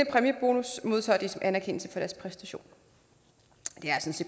præmiebonus modtager de som anerkendelse for deres præstationer